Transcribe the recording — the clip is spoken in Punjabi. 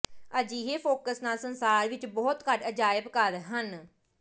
ਅਜਿਹੇ ਫੋਕਸ ਨਾਲ ਸੰਸਾਰ ਵਿਚ ਬਹੁਤ ਘੱਟ ਅਜਾਇਬ ਘਰ ਹਨ